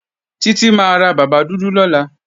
Títí máa ra bàbá dúdú lọ́la